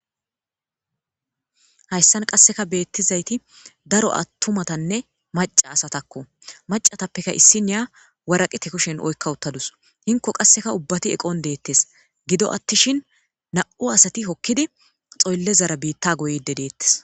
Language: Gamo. Hayssan qasseka beettizayti daro attumatanne maca asatakko macatappeka issiniya waraqite kushen oykka uttadus inko qasseka ubbati eqon deettes gido attishin na7u asati hokkidi xoyllezara biitta goyde deettes